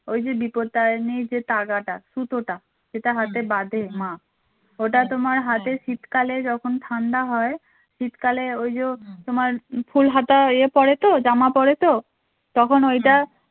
ওই যে বিপত্তারিণীর যে তাগাটা সুতোটা যেটা হাতে বাধে মা ওটা তোমার হাতে শীতকালে যখন ঠাণ্ডা হয় শীতকালে ওই যে তোমার ফুল হাতা ইয়ে পড়ে তো জামা পড়ে তো তখন ওইটা